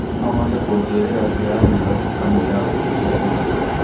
no ũhote kũnjĩrĩra njĩra ya Nairobi kamũira ũtukũ biũ